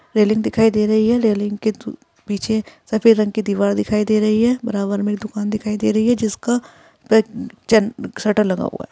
Railing दिखाई दे रही है। रेलिंग के थ्रू पीछे सफेद रंग की दीवार दिखाई दे रही है। बराबर में दुकान दिखाई दे रही है जिसका पण जन शटर लगा हुआ है।